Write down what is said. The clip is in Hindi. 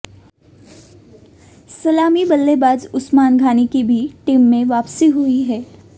सलामी बल्लेबाज उस्मान घानी की भी टीम में वापसी हुई है